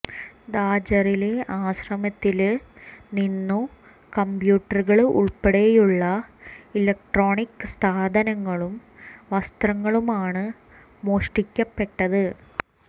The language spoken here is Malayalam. ഝാജറിലെ ആശ്രമത്തില് നിന്നു കംപ്യൂട്ടറുകള് ഉള്പ്പെടെയുള്ള ഇലക്ട്രോണിക് സാധനങ്ങളും വസ്ത്രങ്ങളുമാണ് മോഷ്ടിക്കപ്പെട്ടത്